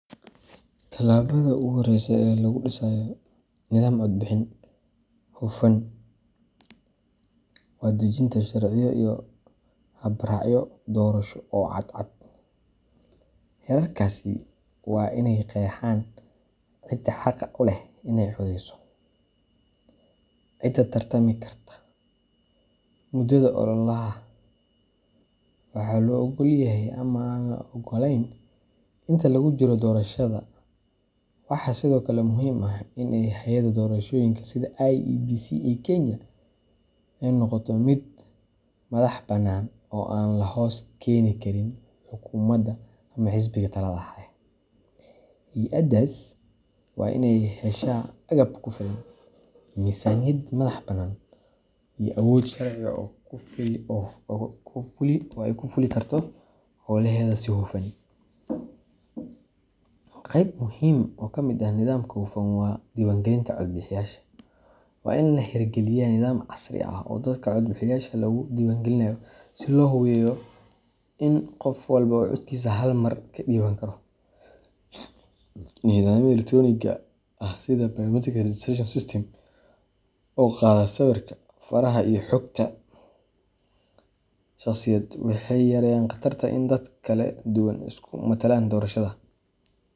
Tallaabada ugu horreysa ee lagu dhisayo nidaam codbixin hufan waa dejinta sharciyo iyo habraacyo doorasho oo cadcad. Xeerarkaasi waa inay qeexaan cidda xaqa u leh inay codeyso, cidda tartami karta, muddada ololaha, iyo waxa la oggol yahay ama aan la oggolayn inta lagu jiro doorashada. Waxaa sidoo kale muhiim ah in hay’adda doorashooyinka sida IEBC ee Kenya ay noqoto mid madax bannaan oo aan la hoos keeni karin xukuumadda ama xisbiga talada haya. Hay’addaas waa inay heshaa agab ku filan, miisaaniyad madax bannaan, iyo awood sharci oo ay ku fuli karto howlaheeda si hufan. Qayb muhiim ah oo ka mid ah nidaamka hufan waa diiwaangelinta codbixiyayaasha. Waa in la hirgeliyaa nidaam casri ah oo dadka codbixiyeyaasha lagu diiwaangelinayo si la hubo in qof walba uu codkiisa hal mar ka dhiiban karo. Nidaamyada elektaroonigga ah sida biometric registration systems oo qaada sawirka, faraha, iyo xogta shakhsiyeed waxay yareeyaan khatarta in dad kala duwan ay isku matalaan doorashada.